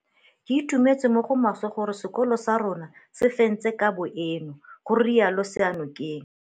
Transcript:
Ke itumetse mo go maswe gore sekolo sa rona se fentse kabo eno, ga rialo Seyanokeng.